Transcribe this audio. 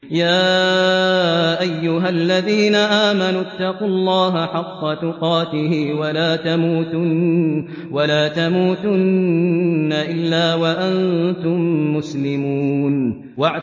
يَا أَيُّهَا الَّذِينَ آمَنُوا اتَّقُوا اللَّهَ حَقَّ تُقَاتِهِ وَلَا تَمُوتُنَّ إِلَّا وَأَنتُم مُّسْلِمُونَ